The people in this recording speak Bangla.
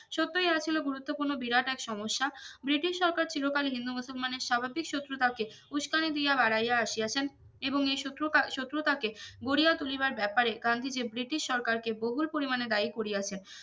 সত্যিই ইহা ছিল গুরুত্বপূর্ণ বিরাট এক সমস্যা ব্রিটিশ সরকার চিরকালীন হিন্দুমুসলমানের স্বাভাবিক শত্রুতাকে উস্কানি দিয়া বারাই আসিয়াছেন এবং এই শত্রুকা শত্রুতাকে গড়িয়া তুলিবার ব্যাপারে গান্ধীজি ব্রিটিশ সরকারকে বহুল পরিমানে দায়ী করিয়াছেন